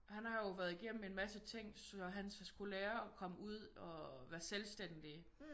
Han har jo været igennem en masse ting så han skulle lære at komme ud og være selvstændig